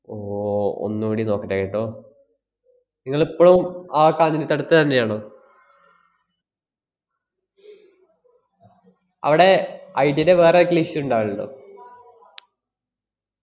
ഓ ഒന്നൂടെ നോക്കട്ടെ കേട്ടോ. ങ്ങള് ഇപ്പളും ആ കാഞ്ഞിരത്തടത്ത് തന്നെയാണോ? അവടെ ഐഡിയേടെ വേറെ ആർക്കേലും issue ഇണ്ടാവലുണ്ടോ?